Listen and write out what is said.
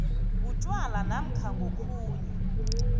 butjwala namkha ngokhunye